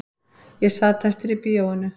Ég sat eftir í bíóinu